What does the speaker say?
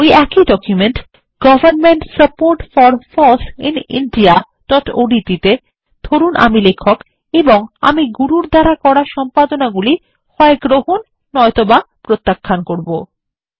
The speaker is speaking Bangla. ওই একই document government support for foss in indiaওডিটি তে ধরুন আমি লেখক এবং আমি গুরুর করা সম্পাদনাগুলি হয় গ্রহণ বা নয় ত বা প্রত্যাখ্যান করব